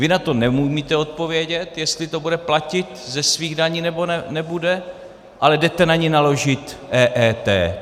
Vy na to neumíte odpovědět, jestli to bude platit ze svých daní, nebo nebude, ale jdete na ni naložit EET.